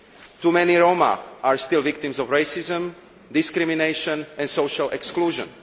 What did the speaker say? Too many Roma are still victims of racism, discrimination and social exclusion.